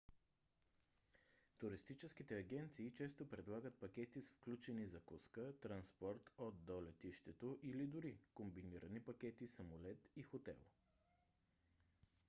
туристическите агенции често предлагат пакети с включени закуска транспорт от/до летището или дори комбинирани пакети самолет и хотел